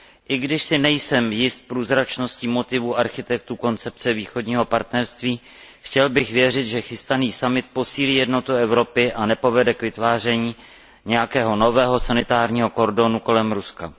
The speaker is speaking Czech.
I když si nejsem jist průzračností motivů architektů koncepce Východního partnerství, chtěl bych věřit, že chystaný summit posílí jednotu Evropy a nepovede k vytváření nějakého nového sanitárního kordonu kolem Ruska.